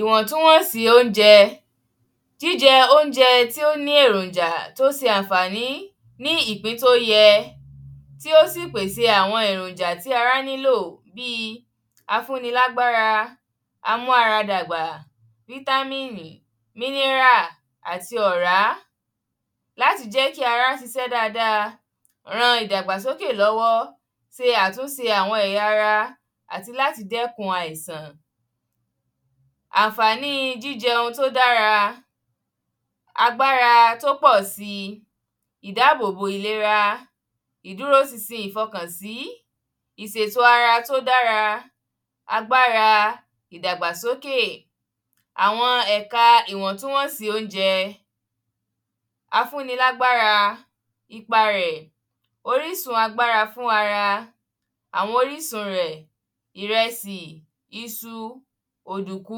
ìwọ̀ntúnwọ̀nsí oúnjẹ, jíjẹ oúnjẹ tí ó ní èròjà, tó n se ànfàní ní ìpín tó yẹ, tí ó sì pèsè àwọn èròjà tí ara nílò bíi afúnilágbára, amáradàgbà, vitamini, mineral àti ọ̀rá láti jẹ́ kí ara sisẹ́ dada, ran ìdàgbàsókè lọ́wọ́ se àtúnse àwọn ẹ̀yà ara, àti láti dẹ́kun àìsàn, ànfàníi jíjẹ oun tí ó dára, agbára tó pọ̀síi ìdábóbó ìlera, ìdúróṣinṣin ìfọkànsí, ìsètò ara tó dára, àgbàrá ìdàgbàsókè, àwọn ẹ̀ka ìwọ̀ntúnwọ̀nsí oúnjẹ, afúnilágbára, ipa rẹ̀, orísun agbára fún ara, àwọn orísun rẹ̀, ìresí, isu, òdùkú,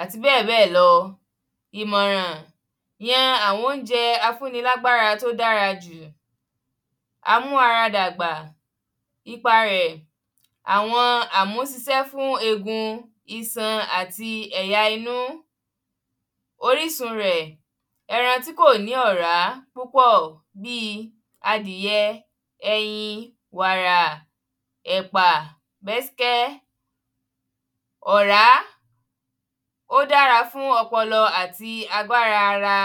àti bẹ́ẹ̀bẹ́ẹ̀ lọ ìmọ̀ràn, yan àwọn oúnjẹ afúnilágbára tó dára jù, amáradàgbà, ipa rẹ̀ àwọn amúsisẹ́ fún egun, iṣan àti ẹ̀yà-inú, orísun rẹ̀, ẹran tí kò ní ọ̀rá púpọ̀ bíi adìyẹ, ẹyin, wàrà, ẹ̀pà, gbẹ́skẹ́, ọ̀rá ó dára fún ọpọlọ àti agbára ara.